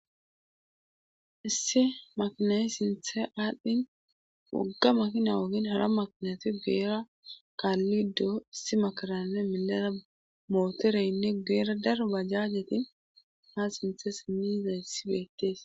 Issi makinayi sinthe aalhdhin wogga makina woohin hara maknati geera kaallido issi makaranne milara mootoreynne geera dar bajjaajetin ha sinthe siniza yssi beettees.